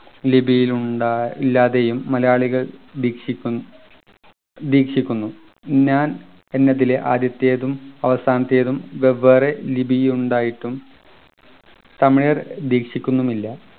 ലിപിയിൽ ഉണ്ടാ ഇല്ലാതെയും മലയാളികൾ ദീക്ഷിക്കു ദീക്ഷിക്കുന്നു ഞാൻ എന്നതിലെ ആദ്യത്തെതും അവസാനത്തേതും വെവ്വേറെ ലിപിയുണ്ടായിട്ടും തമിഴർ ദീക്ഷിക്കുന്നുമില്ല